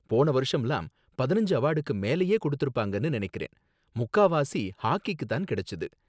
போன வருஷம்லாம் பதினஞ்சு அவார்டுக்கு மேலயே கொடுத்திருப்பாங்கன்னு நனைக்கிறேன், முக்காவாசி ஹாக்கிக்கு தான் கிடைச்சது